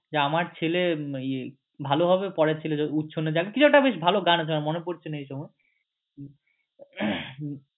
আমার ছেলে ইয়ে ভালো হবে পরের ছেলে উচ্ছন্নে যাক গিয়ে কি একটা ভালো গান আছে আমার মনে পড়ছে না এইসময়